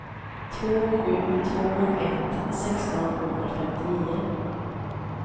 två sju två ett sexton sjuhundrafemtionio